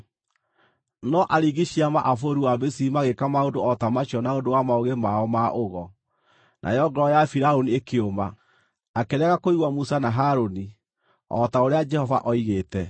No aringi ciama a bũrũri wa Misiri magĩĩka maũndũ o ta macio na ũndũ wa maũgĩ mao ma ũgo, nayo ngoro ya Firaũni ĩkĩũma; akĩrega kũigua Musa na Harũni, o ta ũrĩa Jehova oigĩte.